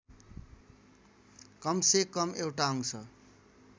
कमसेकम एउटा अंश